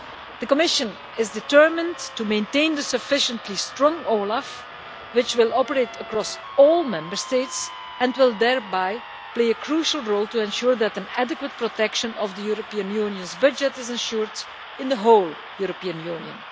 The Commission is determined to maintain a sufficiently strong OLAF which will operate across all Member States and will thereby play a crucial role to ensure that an adequate protection of the European Union's budget is assured in the whole European Union.